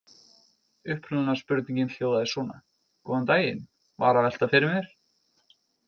Upprunalega spurningin hljóðaði svona: Góðan daginn- var að velta fyrir mér.